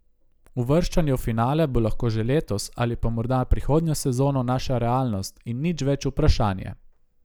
Uvrščanje v finale bo lahko že letos, ali pa morda prihodnjo sezono, naša realnost in nič več vprašanje.